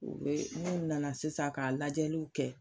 O be n'u nana sisan k'a lajɛliw kɛ